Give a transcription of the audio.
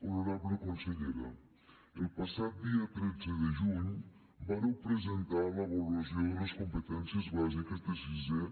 honorable consellera el passat dia tretze de juny vàreu presentar l’avaluació de les competències bàsiques de sisè